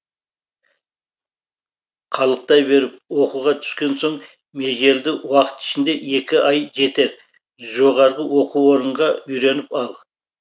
қалықтай беріп оқуға түскен соң межелді уақыт ішінде екі ай жетер жоғарғы оқу орынға үйреніп ал